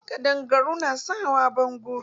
Ƙaɗangaru na son hawa bango.